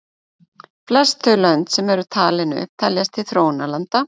Flest þau lönd sem eru talin upp teljast til þróunarlanda.